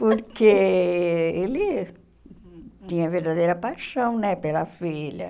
Porque ele tinha verdadeira paixão né pela filha.